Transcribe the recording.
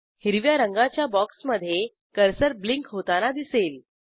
हिरव्या रंगाच्या बॉक्समधे कर्सर ब्लिंक होताना दिसेल